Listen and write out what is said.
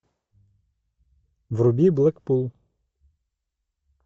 вруби блэкпул